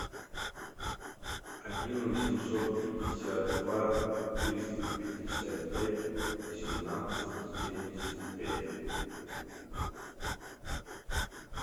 один восемьсот пятьдесят два триста пятьдесят пять восемнадцать семьдесят пять